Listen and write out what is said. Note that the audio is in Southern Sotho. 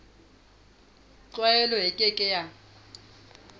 tlwaelo e ke ke ya